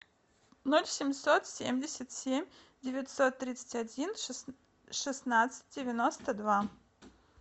ноль семьсот семьдесят семь девятьсот тридцать один шестнадцать девяносто два